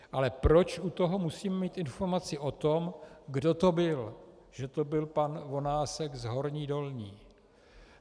Ale proč u toho musím mít informaci o tom, kdo to byl, že to byl pan Vonásek z Horní Dolní?